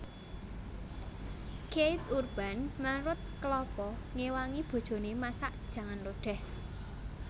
Keith Urban marut kelapa ngewangi bojone masak jangan lodeh